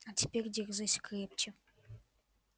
а теперь держись крепче